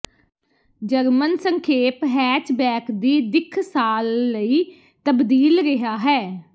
German ਸੰਖੇਪ hatchback ਦੀ ਦਿੱਖ ਸਾਲ ਲਈ ਤਬਦੀਲ ਰਿਹਾ ਹੈ